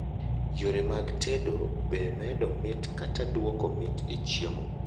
yore mag tedo be medo mit kata duoko mit e chiemo